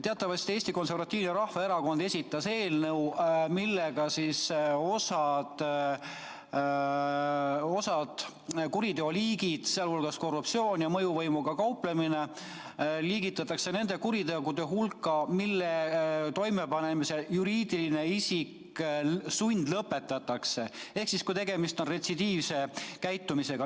Teatavasti esitas Eesti Konservatiivne Rahvaerakond eelnõu, millega osa kuriteoliike, sealhulgas korruptsioon ja mõjuvõimuga kauplemine, liigitatakse nende kuritegude hulka, mille toimepanemisel juriidiline isik sundlõpetatakse – siis, kui tegemist on retsidiivse käitumisega.